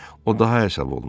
O daha hesab olmuşdu.